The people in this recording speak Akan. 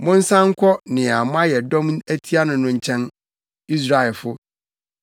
Monsan nkɔ nea moayɛ dɔm atia no no nkyɛn, Israelfo.